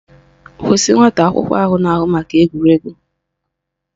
Kwụsị nwata akwụkwọ ahụ na-ahụ maka egwuregwu!